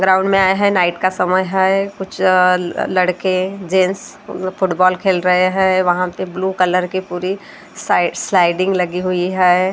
Ground में आए हैं नाइट का समय है कुछ लड़के जेंस फुटबॉल खेल रहे हैं वहाँ पे ब्लू कलर की पूरी साइड स्लाइडिंग लगी हुई है।